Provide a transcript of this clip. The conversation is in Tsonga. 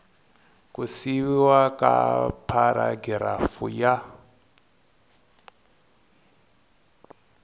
ku siviwa ka pharagirafu ya